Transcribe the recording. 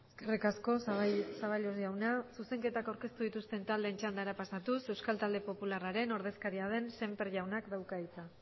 eskerrik asko zaballos jauna zuzenketak aurkeztu dituzten taldeen txandara pasatuz euskal talde popularraren ordezkaria den sémper jaunak dauka hitza